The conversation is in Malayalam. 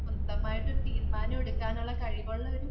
സ്വന്തമായിട്ട് ഒരു തീരുമാനമെടുക്കാനുള്ള കഴിവുള്ള ഒരു